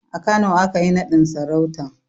A Kano aka yi naɗin sarautan